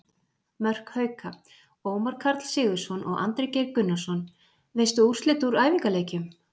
Mörk Hauka: Ómar Karl Sigurðsson og Andri Geir Gunnarsson Veistu úrslit úr æfingaleikjum?